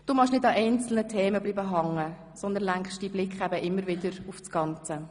Du magst es nicht, an einzelnen Themen hängenzubleiben, sondern lenkst deinen Blick immer wieder auf das Ganze.